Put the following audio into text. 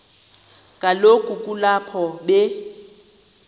kaloku kulapho be